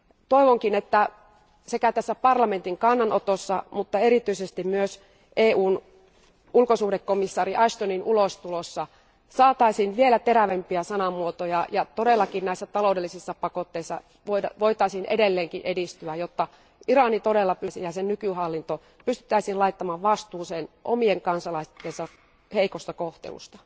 Toivonkin, että sekä tässä parlamentin kannanotossa mutta erityisesti myös EUn ulkosuhdekomissaari Ashtonin ulostulossa saataisiin vielä terävämpiä sanamuotoja, ja todellakin näissä taloudellisissa pakotteissa voitaisiin edelleenkin edistyä, jotta Iran ja sen nykyhallinto pystyttäisiin laittamaan vastuuseen omien kansalaistensa heikosta kohtelusta.